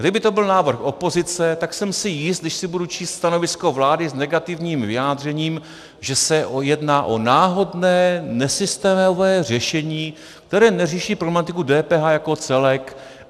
Kdyby to byl návrh opozice, tak jsem si jist, když si budu číst stanovisko vlády s negativním vyjádřením, že se jedná o náhodné, nesystémové řešení, které neřeší problematiku DPH jako celek.